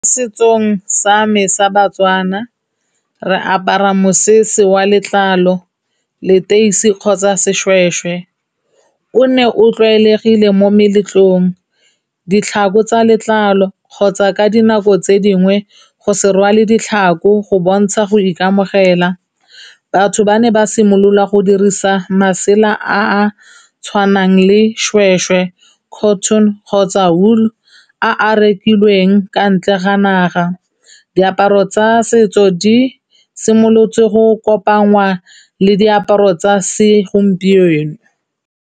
Setsong sa me sa Batswana, re apara mosese wa letlalo, leteisi kgotsa seshweshwe. O ne o tlwaelegile mo meletlong, ditlhako tsa letlalo kgotsa ka dinako tse dingwe go se rwale ditlhako go bontsha go ikamogela. Batho ba ne ba simolola go dirisa masela a a tshwanang le shweshwe, cotton kgotsa wool a a rekilweng kwa ntle ga naga. Diaparo tsa setso di simolotse go kopangwa le diaparo tsa segompieno.